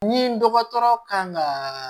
Ni dɔgɔtɔrɔ kan ka